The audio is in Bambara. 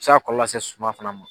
Se ga kɔlɔlɔ lase suma fana ma